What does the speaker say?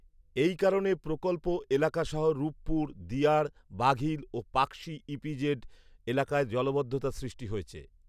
এই কারণে প্রকল্প এলাকাসহ রূপপুর, দিয়াড় বাঘইল ও পাকশী ইপিজেড এলাকায় জলাবদ্ধতা সৃষ্টি হয়েছে